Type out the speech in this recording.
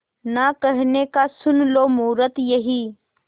ना कहने का सुन लो मुहूर्त यही